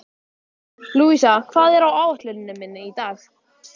Louisa, hvað er á áætluninni minni í dag?